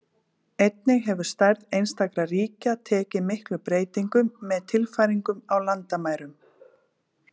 Einnig hefur stærð einstakra ríkja tekið miklum breytingum með tilfæringum á landamærum.